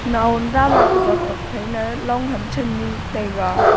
nawam dama apajot tok phai na long ham channu taiga.